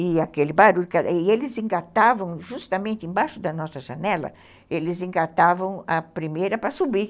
E aquele barulho, e eles engatavam, justamente embaixo da nossa janela, eles engatavam a primeira para subir.